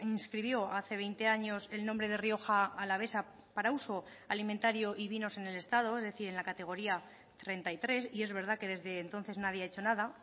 inscribió hace veinte años el nombre de rioja alavesa para uso alimentario y vinos en el estado es decir en la categoría treinta y tres y es verdad que desde entonces nadie ha hecho nada